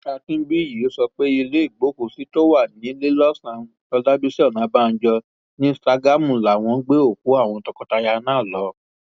akínbíyí sọ pé ilé ìgbókùúsí tó wà níléelọsàn ọlábiṣí ọnàbànjọ ní ṣàgámù làwọn gbé òkú àwọn tọkọtaya náà lọ